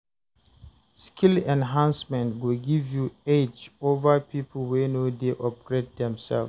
Skill enhancement go give you edge over people wey no dey upgrade themselves.